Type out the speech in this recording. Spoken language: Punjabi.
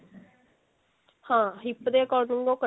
ਹਾਂ hip ਦੇ according ਉਹ ਕੱਟਿਆ